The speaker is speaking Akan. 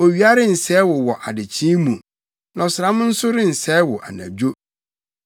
Owia rensɛe wo wɔ adekyee mu, na ɔsram nso rensɛe wo anadwo.